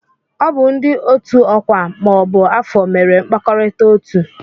Ọ bụ ndị otu ọkwa ma ọ bụ afọ mere mkpakọrịta otuu.